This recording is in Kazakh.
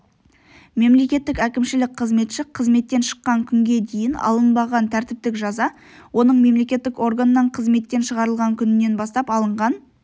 мемлекеттік әкімшілік қызметші қызметтен шыққан күнге дейін алынбаған тәртіптік жаза оның мемлекеттік органнан қызметтен шығарылған күнінен бастап алынған